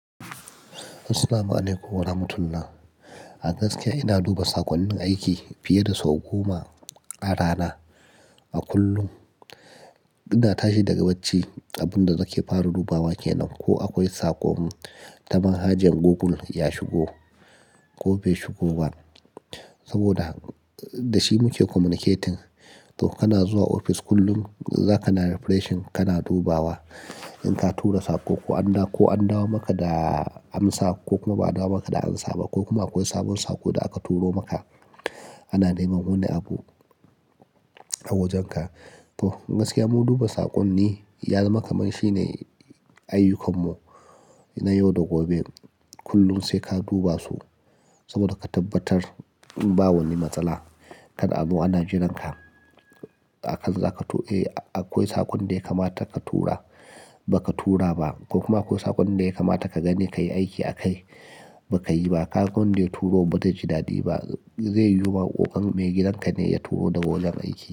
Assalamu'alaikum warahmatullah, a gaskiya ina duba saƙonnin aiki fiye da sau goma a rana. A kullum ina tashi daga bacci abin da nake fara dubawa ke nan ko akwai saƙon ta manhajar Google ya shigo ko bai shigo ba. Saboda da shi muke communicating. To kana zuwa ofis kullum za ka na refreshing, kana dubawa in ka tura saƙo ko an dawo ko an dawo maka da amsa ko kuma ba a dawo maka da ansa ba ko kuma akwai sabon saƙo da aka turo maka. Ana neman wani abu a wajenka. To gaskiya mu duba saƙonni ya zama kamar shi ne ayyukan mu na yau da gobe. Kullum sai ka duba su saboda ka tabbatar ba wani matsala kada azo ana jiran ka. A kan za ka to, eh akwai saƙon da ya kamata ka tura baka tura ba ko kuma akwai saƙon da ya kamata ka gani ka yi aiki a kai baka yi ba. Kaga wanda ya turo ba zai ji daɗi ba zai yiwu ba ko kam me gidan ka ne ya turo daga wajen aiki.